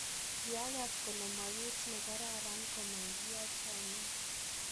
Kiagas kole mogiit nekararan komagiyaa chomiiet.